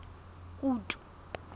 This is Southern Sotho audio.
kutu